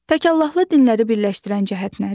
Təkallahlı dinləri birləşdirən cəhət nədir?